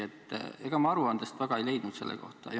Ega ma aruandest selle kohta midagi väga ei leidnud.